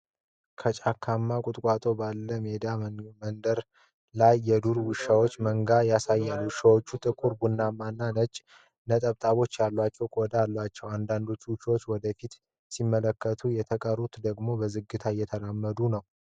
ከጫካማ ቁጥቋጦ ባለው ሜዳማ መንገድ ላይ የዱር ውሾች መንጋ ያሳያል። ውሾቹ ጥቁር፣ ቡናማና ነጭ ነጠብጣቦች ያሉት ቆዳ አላቸው። አንዳንድ ውሾች ወደ ፊት ሲመለከቱ፣ የተቀሩት ደግሞ በዝግታ እየተራመዱ ነው።